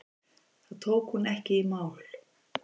Það tók hún ekki í mál.